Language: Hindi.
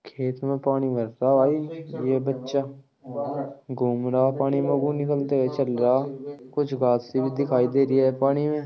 खेत में पानी भर रहा भाई ये बच्चा घूम रहा पानी में में चल रहा कुछ घांसे सी भी दिखाई दे रही है पानी में --